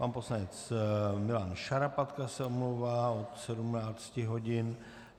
Pan poslanec Milan Šarapatka se omlouvá od 17 hodin.